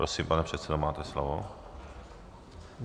Prosím, pane předsedo, máte slovo.